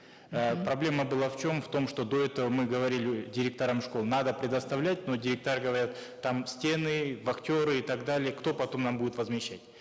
э проблема была в чем в том что до этого мы говорили директорам школ надо предоставлять но директора говорят там стены вахтеры и так далее кто потом нам будет возмещать